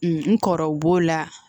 N kɔrɔw b'o la